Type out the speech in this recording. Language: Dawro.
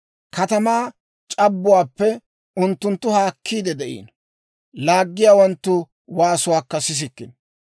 Katamaa c'abbuwaappe unttunttu haakkiide de'iino; laaggiyaawanttu waasuwaakka sissikkino.